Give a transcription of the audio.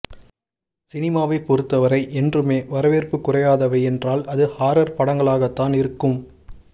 சினிமாவை பொறுத்தவரை என்றுமே வரவேற்பு குறையாதவை என்றால் அது ஹாரர் படங்களாகத்தான் இருக்கும்